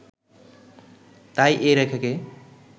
তাই এ রেখাকে